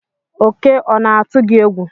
Oke ona-atụ gị egwu?